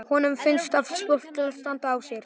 Honum fundust öll spjót standa á sér.